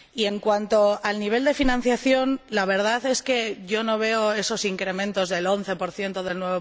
En cuanto al nivel de financiación, la verdad es que yo no veo esos incrementos del 11 y del